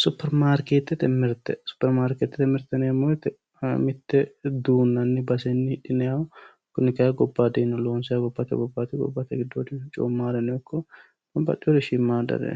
Superimaarketete mirte, superimaarketete mirte yineemmo woyte mite duunanni baseni hidhinanniha kunni kayinni gobbate gobbanino loonsaniha gobbate giddoodinino coomanore babbaxewore shiimadare